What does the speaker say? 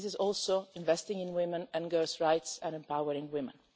This is also investing in women and girls' rights and empowering women.